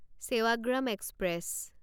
Sevagram express